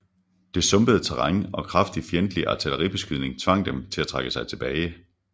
Det sumpede terræn og kraftig fjendtlig artilleribeskydning tvang dem til at trække sig tilbage